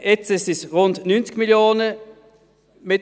Jetzt sind es rund 90 Mio. Franken.